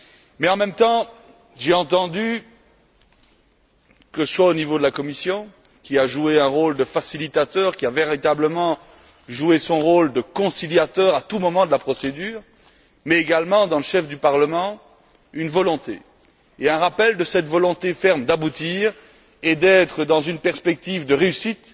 Mais en même temps, j'ai entendu que ce soit au niveau de la Commission, qui a joué un rôle de facilitateur, qui a véritablement joué son rôle de conciliateur à tout moment de la procédure, mais également dans le chef du Parlement une volonté, et un rappel de cette volonté ferme d'aboutir et d'être dans une perspective de réussite